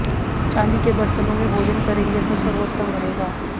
चांदी के बर्तनों में भोजन करेंगे तो सर्वोत्तम रहेगा